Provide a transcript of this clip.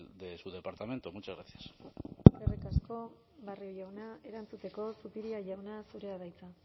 de su departamento muchas gracias eskerrik asko barrio jauna erantzuteko zupiria jauna zurea da hitza